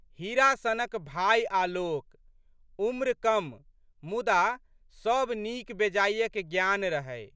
हीरा सनक भाय आलोक। उम्र कम मुदा, सब नीक बेजायक ग्यान रहै।